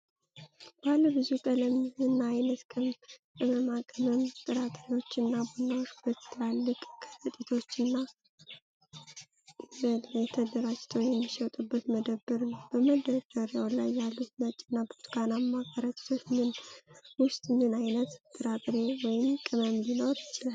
ባለ ብዙ ቀለም እና ዓይነት ቅመማ ቅመም፣ ጥራጥሬዎች እና ቡናዎች በትላልቅ ከረጢቶችና በชั้น ላይ ተደራጅተው የሚሸጡበት መደብር ነው። በመደርደሪያ ላይ ያሉት ነጭ እና ብርቱካናማ ከረጢቶች ውስጥ ምን አይነት ጥራጥሬ ወይም ቅመም ሊኖር ይችላል?